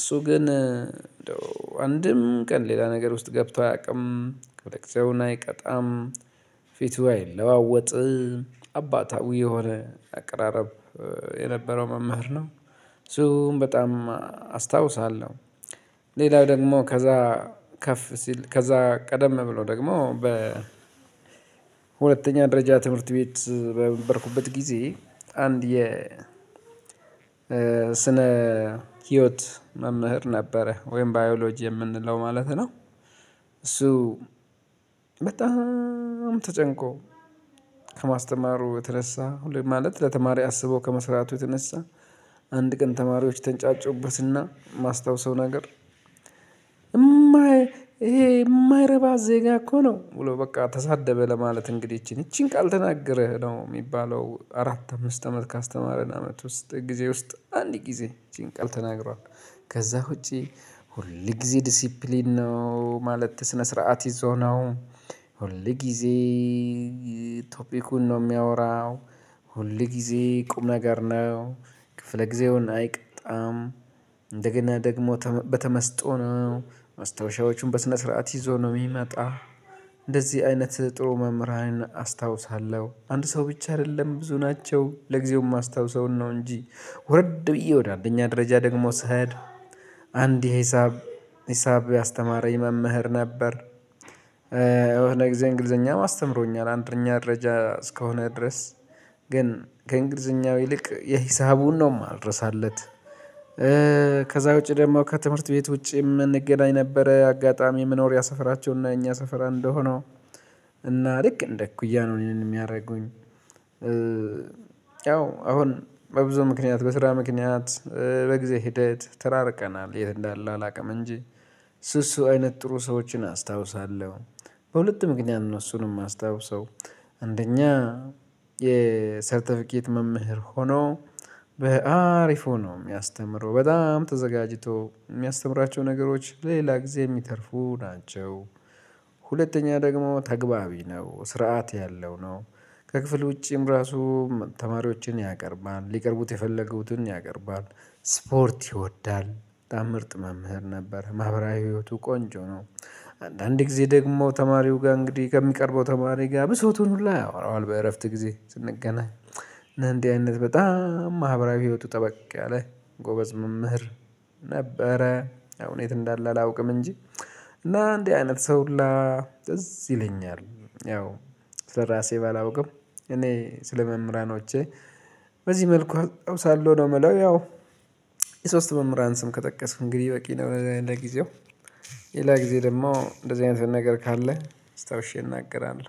እሱ ግን እንደው አንድም ቀን ሌላ ነገር ውስጥ ገብቶ አያውቅም ማለት ሰውን አይቀጣም። ፊቱ አይለዋወጥም አባታዊ የሆነ አቅራረብ የነበረው መምህር ነው። እሱን በጣም አስታውሳለሁ። ሌላው ደግሞ ከዛ ከፍ ሲል ከዛ ቀደም ብሎ ደግሞ በ ሁለተኛ ደረጃ ትምህርት ቤት በነበርኩበት ጊዜ አንድ የ ስነ ህይወት መምህር ነበረ ወይም ባዮሎጂ የምንለው ማለት ነው። እሱ በጣም ተጨንቆ ከማስተማሩ የተነሳ ሁሌም ማለት ለተማሪ አስቦ ከመስራቱ የተነሳ። አንድ ቀን ተማሪዎች ተንጫጩበትና የማስታውሰው ነገር ይሄ የማይረባ ዜጋ እኮ ነው ብሎ በቃ ተሳደበ ለማለት እንግዲህ ይቺን ይቺን ቃል ተናግረህ ነው የሚባለው አራት አምስት አመት ካስተማረን አመት ውስጥ ጊዜ ውስጥ አንድ ጊዜ ይቺን ቃል ተናግሯል። ከዛ ውጪ ሁል ጊዜ ዲሲፕሊን ነው ማለት ስነ ስርዓት ይዞ ነው። ሁል ጊዜ ቶፒኩን ነው የሚያወራው። ሁል ጊዜ ቁም ነገር ነው ክፍለ ጊዜውን አይቀጣም። እንደገና ደግሞ በተመስጦ ነው ማስታወሻዎቹን በስነ ስርዓት ይዞ ነው የሚመጣ። እንደዚህ አይነት ጥሩ መምህራንን አስታውሳለሁ አንድ ሰው ብቻ አይደለም ብዙ ናቸው ለጊዜውም ማስታውሰውን ነው እንጂ። ወረድ ብዬ ወደ አንደኛ ደረጃ ደግሞ ስሄድ አንድ የሂሳብ ሂሳብ ያስተማረኝ መምህር ነበር። የሆነ ጊዜ እንግሊዘኛም አስተምሮኛል አንደኛ ደረጃ እስከሆነ ድረስ ግን ከእንግሊዘኛው ይልቅ የሂሳቡን ነው የማልረሳለት። ከዛ ውጪ ደግሞ ከትምህርት ቤት ውጪ የምንገናኝ ነበረ አጋጣሚ መኖሪያ ሰፈራቸውና የእኛ ሰፈር አንድ ሆኖ እና ልክ እንደ እኩያ ነው እኔን የሚያደርጉኝ። ያው አሁን በብዙ ምክንያት በስራ ምክንያት በጊዜ ሂደት ተራርቀናል የት እንዳለ አላውቅም እንጂ። እሱ እሱ አይነት ጥሩ ሰዎችን አስታውሳለሁ በሁለት ምክንያት ነው እሱን የማስታውሰው። አንደኛ የሰርተፊኬት መምህር ሆኖ በአሪፍ ሆኖ የሚያስተምረው በጣም ተዘጋጅቶ የሚያስተምራቸው ነገሮች ሌላ ጊዜ የሚተርፉ ናቸው። ሁለተኛ ደግሞ ተግባቢ ነው ስርዓት ያለው ነው። ከክፍል ውጪም ራሱ ተማሪዎችን ያቀርባል ሊቀርቡት የፈለጉትን ያቀርባል ስፖርት ይወዳል በጣም ምርጥ መምህር ነበር ማህበራዊ ህይወቱ ቆንጆ ነው። አንዳንድ ጊዜ ደግሞ ተማሪው ጋር እንግዲህ ከሚቀርበው ተማሪ ጋር ብሶቱን ሁላ ያወራዋል በእረፍት ጊዜ ስንገናኝ። እና እንዲህ አይነት በጣም ማህበራዊ ህይወቱ ጠበቅ ያለ ጎበዝ መምህር ነበረ አሁን የት እንዳለ አላውቅም እንጂ። እና እንዲህ አይነት ሰው ሁላ ትዝ ይለኛል። ያው ስለራሴ ባላውቅም እኔ ስለመምህራኖቼ በዚህ መልኩ አውሳለሁ ነው የምለው ያው። የሶስት መምህራን ስም ከጠቀስኩ እንግዲህ በቂ ነው ለጊዜው። ሌላ ጊዜ ደግሞ እንደዚህ አይነት ነገር ካለ አስታውሼ እናገራለሁ